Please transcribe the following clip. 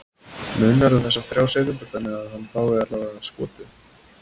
Munar um þessar þrjár sekúndur þannig að hann fái allavega skotið?